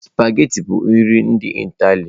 Sụpaghetị bụ nri ndị Ịtali.